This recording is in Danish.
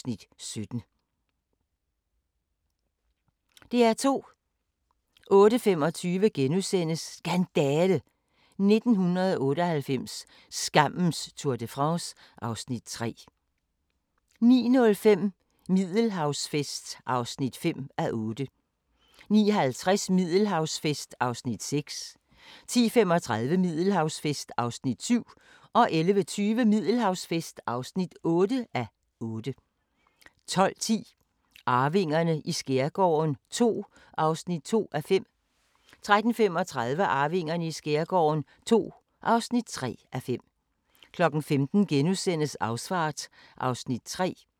05:37: Dagens sang: Midsommersang * 08:00: P2 Radioavis (lør og man-fre) 08:05: Morgenandagten på DR K (lør og man-fre) 08:25: Dagens sang: Aftensti 08:35: Danskernes Krønike - vores mad (Afs. 5) 09:05: Flådens historie (6:7)* 10:05: Danske drømme (9:10) 11:05: Danske drømme (10:10)* 12:05: Her er dit liv – Bodil Udsen 13:35: Den gode, den onde og den virk'li sjove